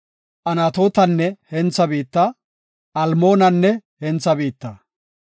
Anatootenne hentha biitta, Almoonanne hentha biitta.